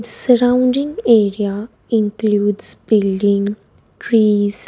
The surrounding area includes building trees --